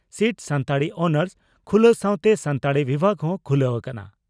Seat ᱥᱟᱱᱛᱟᱲᱤ ᱚᱱᱟᱨᱥ) ᱠᱷᱩᱞᱟᱹ ᱥᱟᱣᱛᱮ ᱥᱟᱱᱛᱟᱲᱤ ᱵᱤᱵᱷᱟᱜᱽ ᱦᱚᱸ ᱠᱷᱩᱞᱟᱹ ᱟᱠᱟᱱᱟ ᱾